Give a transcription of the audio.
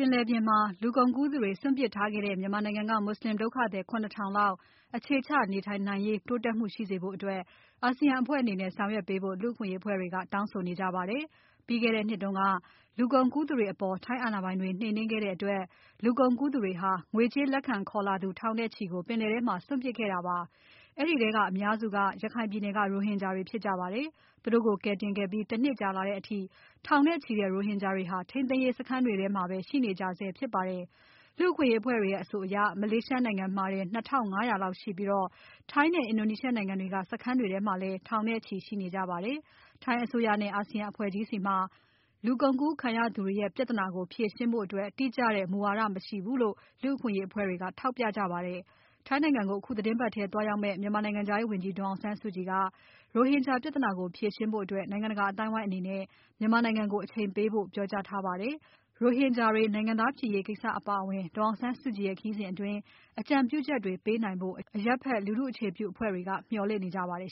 င်လယ်ပြင်မှာ လူကုန်ကူးသူတွေ စွန့်ပြစ်ခံခဲ့ရတဲ့ မြန်မာနိုင်ငံက မွတ်ဆလင် ဒုက္ခသည် ၇ ထောင်လောက် အခြေချ နေထိုင်နိုင်ရေး တိုးတက်မှုရှိစေဖို့ အာဆီယံ အဖွဲ့အနေနဲ့ ဆောင်ရွက်ပေးဖို့ လူ့အခွင့်အရေး အဖွဲ့တွေက တောင်းဆို လိုက်ကြပါတယ်။ ပြီးခဲ့တဲ့ နှစ်တုန်းက လူကုန်ကူးသူတွေ အပေါ် ထိုင်း အာဏာပိုင်တွေ နှိမ်နှင်းခဲ့တဲ့ အတွက် လူကုန်ကူးသူတွေဟာ ငွေကြေး လက်ခံခေါ်လာသူ ထောင်နဲ့ချီကို ပင်လယ်ထဲမှာ စွန့်ပစ်ခဲ့တာပါ၊ အဲဒီထဲက အများစုဟာ ရခိုင်ပြည်နယ်က ရိုဟင်ဂျာတွေဖြစ်ကြပါတယ်။ သူတို့ကို ကယ်တင်ခဲ့ပြီး ၁ နှစ်ကြာလာတဲ့အထိ ထောင်နဲ့ချီတဲ့ ရိုဟင်ဂျာတွေဟာ ထိန်းသိမ်းရေး စခန်းတွေမှာပဲ ရှိနေကြဆဲဖြစ်ပါတယ်။ လူ့အခွင့်အရေးအဖွဲ့တွေရဲ့ အဆိုအရ မလေးရှားနိုင်ငံမှာတင် ၂၅၀၀ လောက်ရှိပြီး ထိုင်းနဲ့ အင်ဒိုနီးရှားနိုင်ငံတွေက စခန်းတွေမှာလဲ ထောင်နဲ့ချီရှိနေကြပါတယ်။ ထိုင်း အစိုးရနဲ့ အာဆီယံအဖွဲ့ကြီးဆီမှာ ဒီလူကုန်ကူးခံရသူတွေပြဿနာ ဖြေရှင်းဖို့ တိကျတဲ့ မူဝါဒမရှိဘူးလို့ လူ့အခွင့်အရေး အဖွဲ့တွေက ထောက်ပြကြပါတယ်။ ထိုင်းနိုင်ငံကို အခု သီတင်းပါတ်ထဲမှာ သွားရောက်မဲ့ မြန်မာနိုင်ငံခြားရေး ဝန်ကြီး ဒေါ်အောင်ဆန်းစုကြည်က ရိုဟင်ဂျာ ပြဿနာကို ဖြေရှင်းဖို့ နိုင်ငံတကာ အသိုင်းအဝိုင်း အနေနဲ့ မြန်မာနိုင်ငံကို အချိန်ပေးဖို့ ပြောကြားခဲ့ပါတယ်။ ရိုဟင်ဂျာတွေ နိုင်ငံသားဖြစ်ရေးကိစ္စအပါအဝင် ဒေါ်အောင်ဆန်းစုကြည်ရဲ့ ခရီးစဉ် အတွင်း အကြံပြုချက်တွေ ပေးနိုင်ဖို့ အရပ်ဖက် လူထုအခြေပြု အဖွဲ့တွေက မျှော်လင့် နေကြပါတယ်